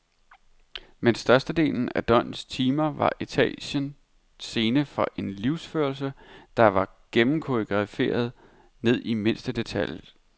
Men størstedelen af døgnets timer var etagen scene for en livsførelse, der var gennemkoreograferet ned i mindste detalje.